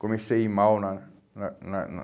Comecei a ir mal na na na na